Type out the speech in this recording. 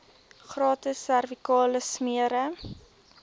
gratis servikale smere